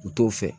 U t'o fɛ